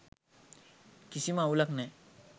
කිසිම අවුලක් නෑ.